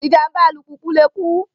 Ìjàm̀bá alùpùpù lè kú